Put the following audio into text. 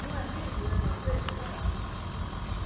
Não é lindo, não é perfeito, o verso?